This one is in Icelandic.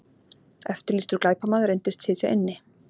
Eftirlýstur glæpamaður reyndist sitja inni